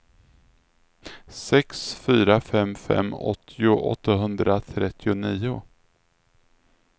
sex fyra fem fem åttio åttahundratrettionio